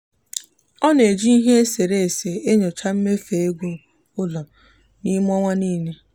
ọ na-eji ihe e sere ese enyocha mmefu ego n'ụlọ n'ime ọnwa niile.